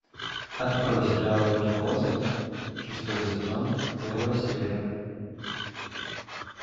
открой сериал виртуозы шестой сезон первая серия